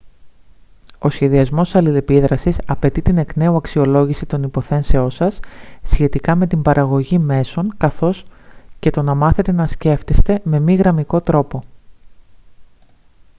ο σχεδιασμός αλληλεπίδρασης απαιτεί την εκ νέου αξιολόγηση των υποθέσεων σας σχετικά με την παραγωγή μέσων καθώς και το να μάθετε να σκέφτεστε με μη γραμμικό τρόπο